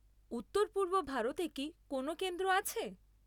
উত্তর পূর্ব ভারতে কি কোনও কেন্দ্র আছে?